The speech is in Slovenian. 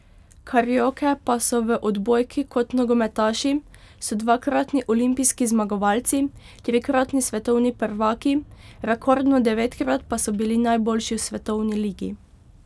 Karioke pa so v odbojki kot nogometaši, so dvakratni olimpijski zmagovalci, trikratni svetovni prvaki, rekordno devetkrat pa so bili najboljši v svetovni ligi.